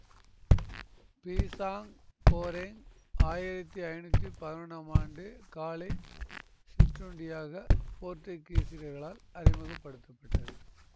பீசாங் goreng ஆயிரத்தி ஐநூத்தி பதினொன்னாம் ஆண்டு காலை சிற்றுண்டியாக போர்த்துகீசியர்களால் அறிமுக படுத்த பட்டது